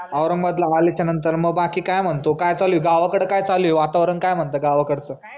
औरंगाबादला आल्याच्या नंतर मग बाकी काय म्हणतो काय चालू आहे, गावाकडं काय चालू आहे वातावरण काय म्हणतं गावाकडच.